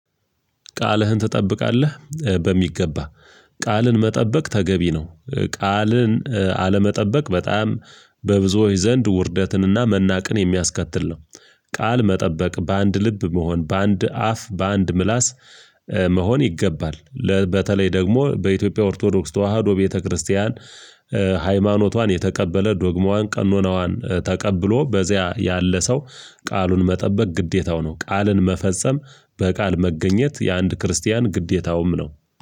ቃልህን ትጠብቃለህ በሚገባ። ቃልን መጠበቅ ተገቢ ነው። ቃልን አለመጠበቅ በጣም በብዙዎች ዘንድ ውርደትንና መናቅን የሚያስከትል ነው። ቃል መጠበቅ በአንድ ልብ መሆን በአንድ አፍ በአንድ ምላስ መሆን ይገባል። በተለይ ደግሞ በኢትዮጵያ ኦርቶዶክስ ተዋህዶ ቤተክርስቲያን ሃይማኖቷን የተቀበለ ዶግማዋን ቀኖናዋን ተቀብሎ በዚያ ያለ ሰው። ቃሉን መጠበቅ ግዴታው ነው። ቃልን መፈጸም በቃል መገኘት የአንድ ክርስቲያን ግዴታውም ነው።